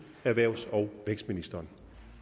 erhvervs og vækstministeren